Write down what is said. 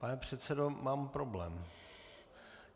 Pane předsedo, mám problém.